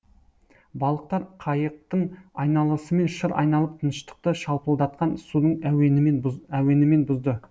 балықтар қайықтың айналасымен шыр айналып тыныштықты шалпылдатқан судың әуенімен бұзды